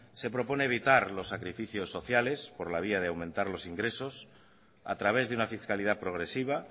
se propone evitar los sacrificios sociales por la vía de aumentar los ingresos a través de una fiscalidad progresiva